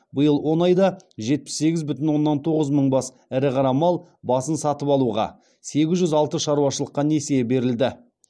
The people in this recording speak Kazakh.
биыл он айда жетпіс сегіз бүтін оннан тоғыз мың бас ірі қара мал басын сатып алуға сегіз жүз алты шаруашылыққа несие берілді